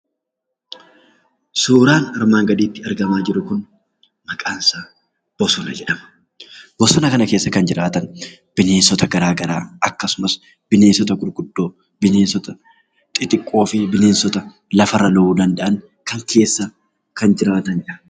Suuraan armaan gadiitti argamaa jiru kun maqaan isaa bosona jedhama. Bosona kana keessa kan jiraatan bineensota garaa garaa, akkasumas bineensota guguddoo, bineensota xixiqqoo fi lafarra lo'uu danda'an kana keessa kan jiraataniidha.